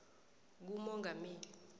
kumongameli